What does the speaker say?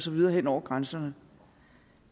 videre hen over grænserne